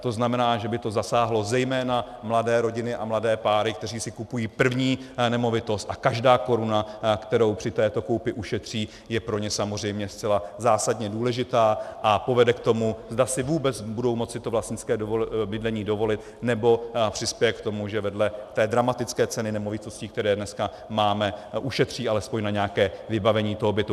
To znamená, že by to zasáhlo zejména mladé rodiny a mladé páry, které si kupují první nemovitost, a každá koruna, kterou při této koupi ušetří, je pro ně samozřejmě zcela zásadně důležitá a povede k tomu, zda si vůbec budou moci to vlastnické bydlení dovolit, nebo přispěje k tomu, že vedle té dramatické ceny nemovitostí, které dneska máme, ušetří alespoň na nějaké vybavení toho bytu.